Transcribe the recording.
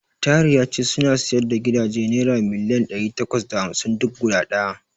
Tahir ya ce suna siyar da gidaje naira miliyan ɗari takwas da hamsin duk guda ɗaya.